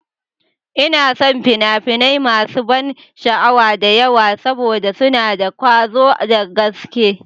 Ina son fina-finai masu ban sha'awa da yawa saboda suna da ƙwazo da gaske.